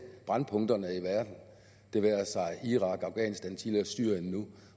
brændpunkterne i verden det være sig irak afghanistan